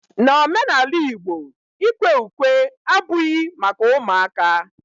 N'omenala igbo, ikwe ukwe abughi maka ụmụaka